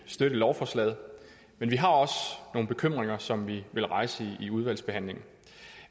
støtte lovforslaget men vi har også nogle bekymringer som vi vil rejse i udvalgsbehandlingen